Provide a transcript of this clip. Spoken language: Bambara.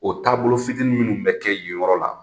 O taabolo fitinin minnu bɛ kɛ yen yɔrɔ la